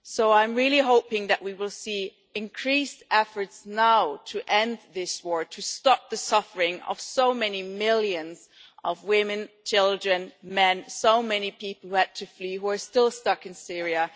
I am really hoping that we will see increased efforts now to end this war, to stop the suffering of so many millions of women, children, men, so many people who had to flee who are still stuck in Syria.